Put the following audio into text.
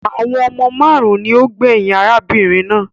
Àwọn ọmọ máarun ni ó gbẹyìn arábìnrin náà